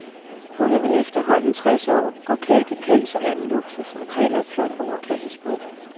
Hun er vel efterhånden tres år, går klædt i pels og anden luksus og taler et flot overklassesprog.